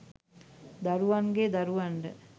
දරුවන්ගේ දරුවන්ට